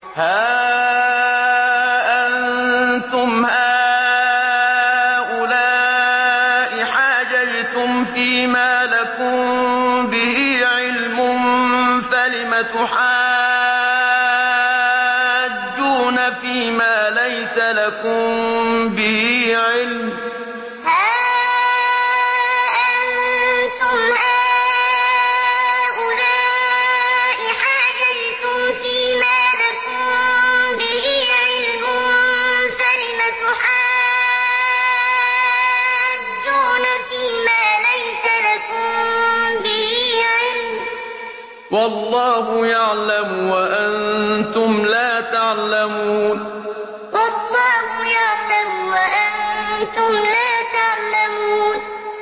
هَا أَنتُمْ هَٰؤُلَاءِ حَاجَجْتُمْ فِيمَا لَكُم بِهِ عِلْمٌ فَلِمَ تُحَاجُّونَ فِيمَا لَيْسَ لَكُم بِهِ عِلْمٌ ۚ وَاللَّهُ يَعْلَمُ وَأَنتُمْ لَا تَعْلَمُونَ هَا أَنتُمْ هَٰؤُلَاءِ حَاجَجْتُمْ فِيمَا لَكُم بِهِ عِلْمٌ فَلِمَ تُحَاجُّونَ فِيمَا لَيْسَ لَكُم بِهِ عِلْمٌ ۚ وَاللَّهُ يَعْلَمُ وَأَنتُمْ لَا تَعْلَمُونَ